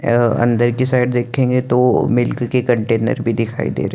यह अंदर की साइड देखेंगे तो मिल्क के कंटेनर भी दिखाई दे रही ह--